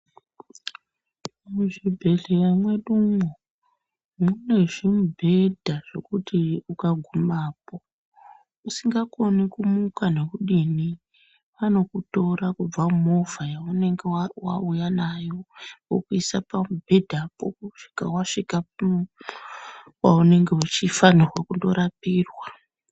Muzvibhedhleya mwedu umo mune zvimubhedha zvekuti ukagumapo usingakoni kumuka nokudini, vanokutora kubva mumovha yaunenge wauya nayo vokuisa pamubhedhapo kusvika wasvika kwaaunenge uchifanirwaa kundorapirwaa.